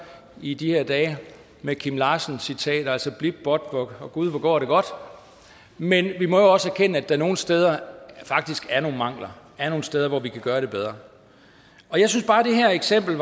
i de her dage med kim larsen citater altså blip båt og gud hvor går det godt men vi må også erkende at der nogle steder faktisk er nogle mangler at er nogle steder hvor vi kan gøre det bedre og jeg synes bare at det her eksempel